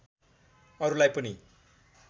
अरुलाई पनि